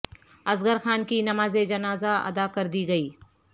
اصغر خان کی نماز جنازہ ادا کر دی گئی